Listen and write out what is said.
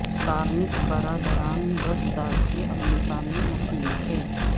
Tsarnaev برادران دس سال سے امریکہ میں مقیم تھے